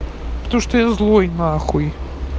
то что я злой на х